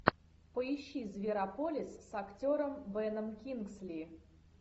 поищи зверополис с актером беном кингсли